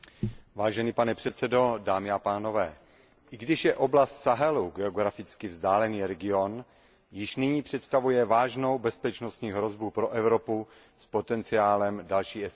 Pane předsedající, i když je oblast Sahelu geograficky vzdálený region, již nyní představuje vážnou bezpečnostní hrozbu pro Evropu s potenciálem další eskalace.